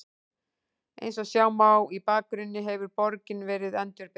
Eins og sjá má í bakgrunni hefur borgin verið endurbyggð.